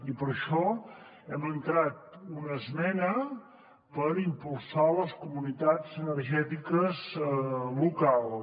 i per això hem entrat una esmena per impulsar les comunitats energètiques locals